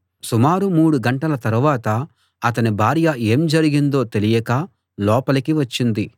సుమారు మూడుగంటల తరువాత అతని భార్య ఏం జరిగిందో తెలియక లోపలికి వచ్చింది